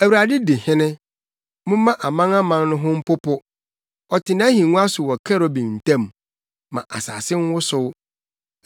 Awurade di hene, momma amanaman no ho mpopo; ɔte nʼahengua so wɔ kerubim ntam, ma asase nwosow.